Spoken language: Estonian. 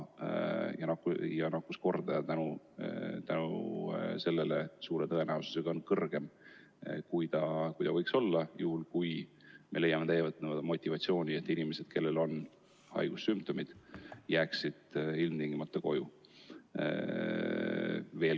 Seetõttu on nakkuskordaja suure tõenäosusega suurem, kui ta võiks olla juhul, kui inimesed leiaksid motivatsiooni, et jääda haigussümptomite ilmnemisel ilmtingimata koju.